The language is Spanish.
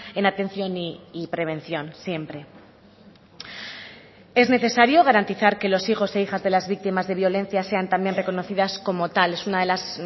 en atención y prevención siempre es necesario garantizar que los hijos e hijas de las víctimas de violencia sean también reconocidas como tal es una de las